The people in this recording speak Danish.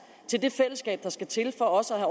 til det fællesskab der skal til for også at